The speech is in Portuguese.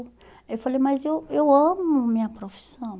Aí eu falei, mas eu eu amo minha profissão.